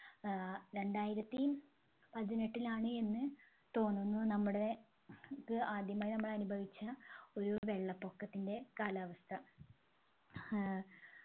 ഏർ രണ്ടായിരത്തി പതിനെട്ടിലാണ് എന്ന് തോന്നുന്നു നമ്മുടെ ക്ക് ആദ്യമായി നമ്മൾ അനുഭവിച്ച ഒരു വെള്ളപൊക്കത്തിൻെറ കാലാവസ്ഥ ഏർ